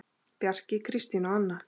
Bjarki, Kristín og Anna.